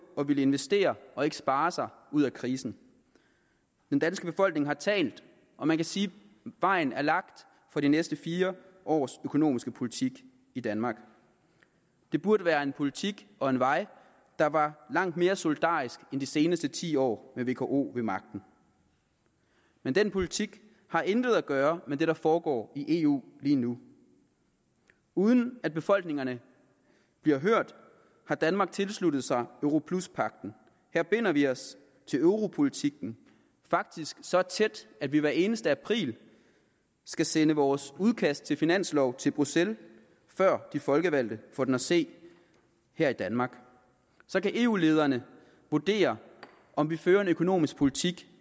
at ville investere og ikke spare sig ud af krisen den danske befolkning har talt og man kan sige at vejen er lagt for de næste fire års økonomiske politik i danmark det burde være en politik og en vej der var langt mere solidarisk end de seneste ti år med vko ved magten men den politik har intet at gøre med det der foregår i eu lige nu uden at befolkningerne bliver hørt har danmark tilsluttet sig europluspagten her binder vi os til europolitikken faktisk så tæt at vi hvert eneste april skal sende vores udkast til finanslov til bruxelles før de folkevalgte får den at se her i danmark så kan eu lederne vurdere om vi fører en økonomisk politik